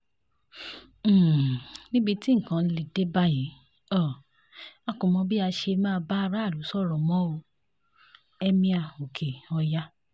um níbi tí nǹkan lè dé báyìí um a kò mọ bí a ṣe máa bá aráàlú sọ̀rọ̀ mọ́ o- emir oke-oya